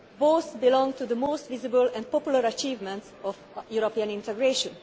linked. Both belong to the most visible and popular achievements of European integration.